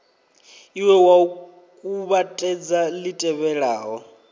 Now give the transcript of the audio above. ie wa kuvhatedza li tevhelaho